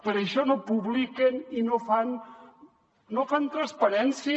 per això no publiquen i no fan transparència